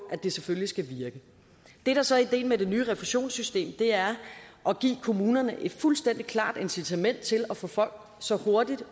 at det selvfølgelig skal virke det der så er ideen med det nye refusionssystem er at give kommunerne et fuldstændig klart incitament til at få folk så hurtigt